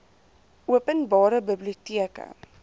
open bare biblioteke